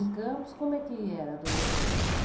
Em Campos, como é que era a adolescência?